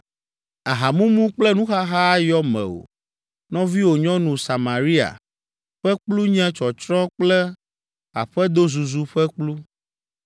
Ahamumu kple nuxaxa ayɔ mewò. Nɔviwò nyɔnu, Samaria, ƒe kplu nye tsɔtsrɔ̃ kple aƒedozuzu ƒe kplu.